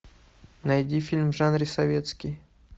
найди фильм в жанре советский